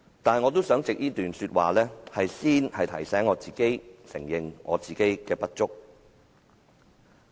不過，我想藉這段說話，先提醒自己承認本身的不足。